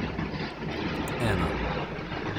Ena.